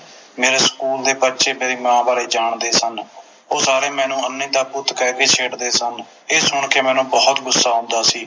ਮੇਰੇ ਸਕੂਲ ਦੇ ਬੱਚੇ ਮੇਰੀ ਮਾਂ ਬਾਰੇ ਜਾਣਦੇ ਸਨ ਉਹ ਸਾਰੇ ਮੈਨੂੰ ਅੰਨ੍ਹੀ ਦਾ ਪੁੱਤ ਕਹਿ ਕੇ ਛੇੜਦੇ ਸਨ ਇਹ ਸੁਣ ਕੇ ਮੈਨੂੰ ਬੋਹੋਤ ਗੁੱਸਾ ਆਉਂਦਾ ਸੀ